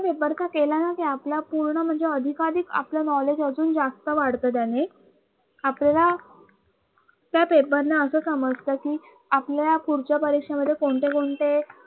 paper चा केला ना कि आपला पूर्ण म्हणजे अधिकाधिक आपलं knowledge अजून जास्त वाढत त्याने आपल्याला त्या paper ने असं समजते कि आपल्याला पुढच्या परीक्षेमध्ये कोणते कोणते